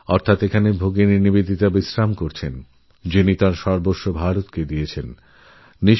এখানে বিশ্রামকরছেন সিস্টার নিবেদিতা যিনি তাঁর সবকিছুই দিয়ে গেছেন ভারতবর্ষকে